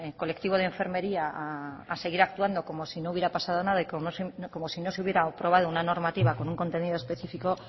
colectivo de enfermería a seguir actuando como si no hubiera pasado nada y como si no se hubiera aprobado una normativa con un contenido específico